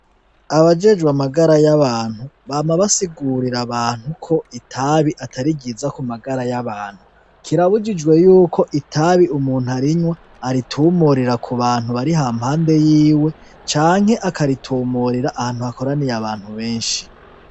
Abajejwe amagara y'abantu bama vasigurira abantu uko itabi atari ryiza Kumagara y'abantu kirabujijwe yuko itabi umuntu arinywa aritumurira k'ubantu bari hampande yiwe canke akaritumurira ahantu hakoraniye abantu benshi.